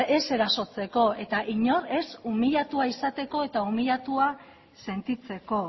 ez erasotzeko eta inor ez umiliatua izateko eta umiliatua sentitzeko